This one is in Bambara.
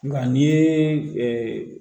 Nka n'i ye